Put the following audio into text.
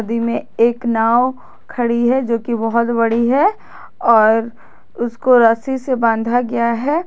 नदी में एक नाव खड़ी है जो कि बहुत बड़ी है और उसको रस्सी से बांधा गया है।